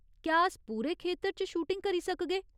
क्या अस पूरे खेतर च शूटिंग करी सकगे?